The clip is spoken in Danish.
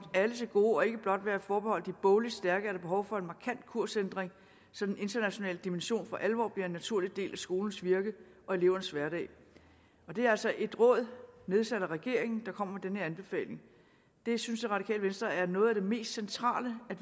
alle til gode og ikke blot være forbeholdt de bogligt stærke er der behov for en markant kursændring så den internationale dimension for alvor bliver en naturlig del af skolens virke og elevernes hverdag det er altså et råd nedsat af regeringen der kommer med den her anbefaling det synes det radikale venstre er noget af det mest centrale at